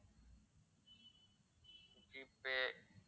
G pay